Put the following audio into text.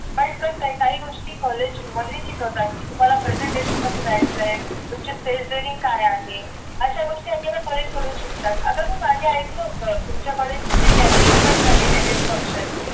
पण कस आहे काही गोष्टी college मध्ये शिकवतात की तुम्हाला presentation कसे द्यायचंय तुमची phrase during काय आहे अशा गोष्टी आपल्याला college कडून शकतात आता बघ माझं ऐकलं होतं तुमच्या college मध्ये gathering पण झाली annual function